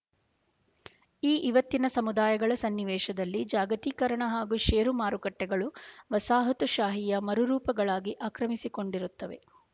ಈ ಇವತ್ತಿನ ಸಮುದಾಯಗಳ ಸನ್ನಿವೇಶದಲ್ಲಿ ಜಾಗತೀಕರಣ ಹಾಗೂ ಶೇರು ಮಾರುಕಟ್ಟೆಗಳು ವಸಾಹತುಶಾಹಿಯ ಮರುರೂಪಗಳಾಗಿ ಆಕ್ರಮಿಸಿಕೊಂಡಿರುತ್ತವೆ